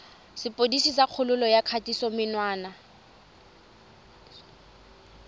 sepodisi sa kgololo ya kgatisomenwa